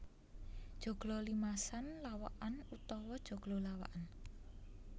Joglo limasan lawakan utawa joglo lawakan